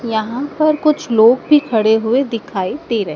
यहां पर कुछ लोग भी खड़े हुए दिखाई दे रहे--